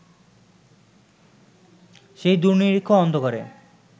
সেই দূর্নিরিক্ষ অন্ধকারে